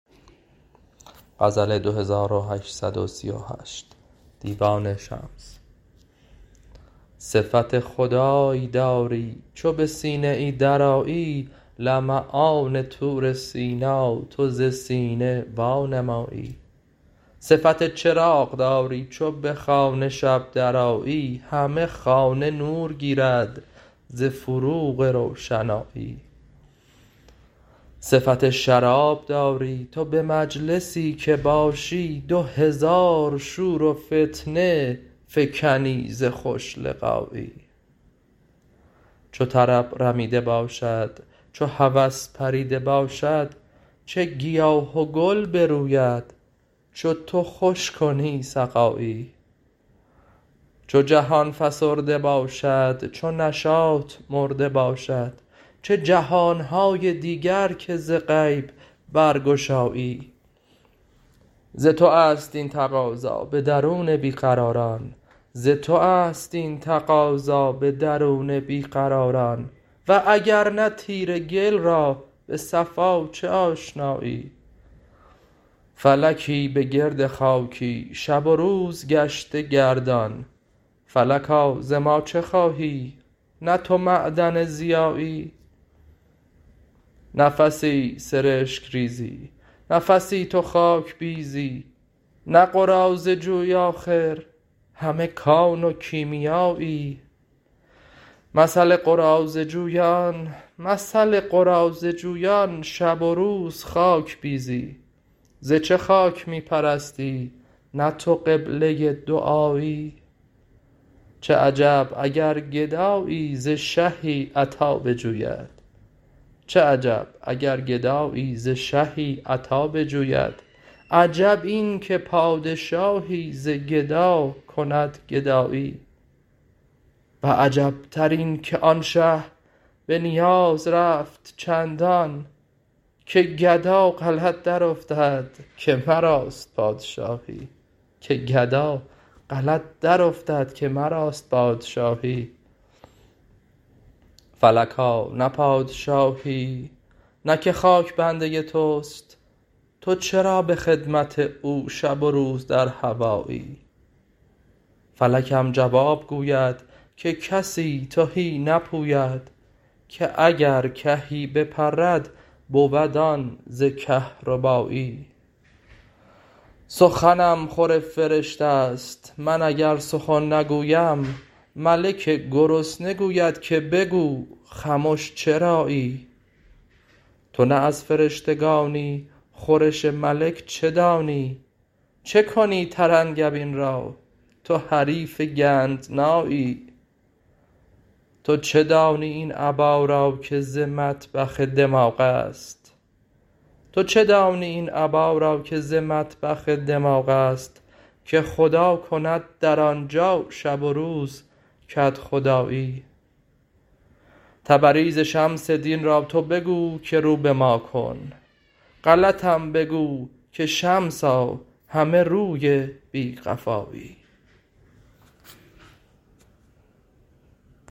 صفت خدای داری چو به سینه ای درآیی لمعان طور سینا تو ز سینه وانمایی صفت چراغ داری چو به خانه شب درآیی همه خانه نور گیرد ز فروغ روشنایی صفت شراب داری تو به مجلسی که باشی دو هزار شور و فتنه فکنی ز خوش لقایی چو طرب رمیده باشد چو هوس پریده باشد چه گیاه و گل بروید چو تو خوش کنی سقایی چو جهان فسرده باشد چو نشاط مرده باشد چه جهان های دیگر که ز غیب برگشایی ز تو است این تقاضا به درون بی قراران و اگر نه تیره گل را به صفا چه آشنایی فلکی به گرد خاکی شب و روز گشته گردان فلکا ز ما چه خواهی نه تو معدن ضیایی نفسی سرشک ریزی نفسی تو خاک بیزی نه قراضه جویی آخر همه کان و کیمیایی مثل قراضه جویان شب و روز خاک بیزی ز چه خاک می پرستی نه تو قبله دعایی چه عجب اگر گدایی ز شهی عطا بجوید عجب این که پادشاهی ز گدا کند گدایی و عجبتر اینک آن شه به نیاز رفت چندان که گدا غلط درافتد که مراست پادشاهی فلکا نه پادشاهی نه که خاک بنده توست تو چرا به خدمت او شب و روز در هوایی فلکم جواب گوید که کسی تهی نپوید که اگر کهی بپرد بود آن ز کهربایی سخنم خور فرشته ست من اگر سخن نگویم ملک گرسنه گوید که بگو خمش چرایی تو نه از فرشتگانی خورش ملک چه دانی چه کنی ترنگبین را تو حریف گندنایی تو چه دانی این ابا را که ز مطبخ دماغ است که خدا کند در آن جا شب و روز کدخدایی تبریز شمس دین را تو بگو که رو به ما کن غلطم بگو که شمسا همه روی بی قفایی